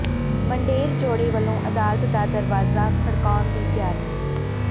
ਮੰਡੇਰ ਜੋੜੇ ਵੱਲੋਂ ਅਦਾਲਤ ਦਾ ਦਰਵਾਜ਼ਾ ਖੜਕਾਉਣ ਦੀ ਤਿਆਰੀ